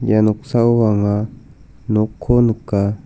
ia noksao anga nokko nika.